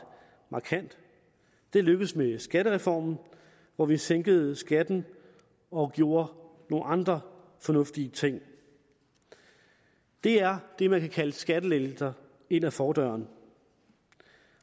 markant det lykkedes med skattereformen hvor vi sænkede skatten og gjorde nogle andre fornuftige ting det er det man kan kalde skattelettelser ind ad fordøren